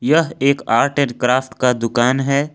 यह एक art and craft का दुकान है।